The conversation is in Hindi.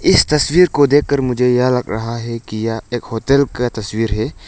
इस तस्वीर को देखकर मुझे यह लग रहा है किया एक होटल का तस्वीर है।